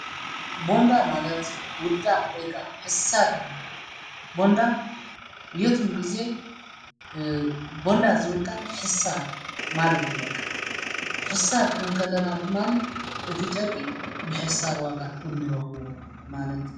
ቦንዳ ማለት ውዳቕ ወይካ ሕሳር ማለት ቦንዳ የትም ጊዜ ቦንዳ ዘብልቃል ሕሳር ማለት ይበቅ ሕሳር ክንወንከለና ድማኒ እቲ ጨርቂ ብሕሳር ዋጋ እንረኽቦ ማለት እዩ።